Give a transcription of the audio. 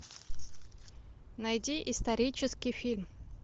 найди исторический фильм